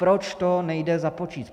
Proč to nejde započíst?